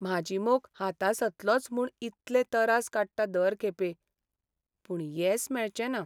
म्हाजी मोख हातासतलोंच म्हूण इतले तरास काडटां दर खेपे, पूण येस मेळचना.